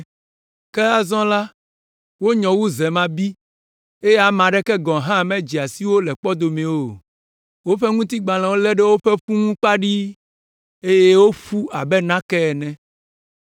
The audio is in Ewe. Ke azɔ la, wonyɔ wu zemabi eye ame aɖeke gɔ̃ hã medzea si wo le kpɔdomewo o. Woƒe ŋutigbalẽ lé ɖe woƒe ƒu ŋuti kpaɖii, eye woƒu abe nake ene.